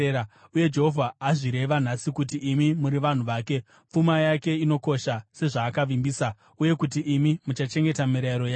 Uye Jehovha azvireva nhasi kuti imi muri vanhu vake, pfuma yake inokosha sezvaakavimbisa, uye kuti imi muchachengeta mirayiro yake.